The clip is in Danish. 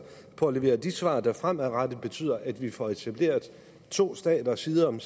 på at levere de svar der fremadrettet betyder at vi får etableret to stater side om